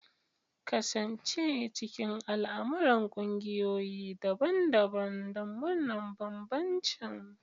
Kasance cikin al'amuran ƙungiyoyi daban-daban don murnar bambancin.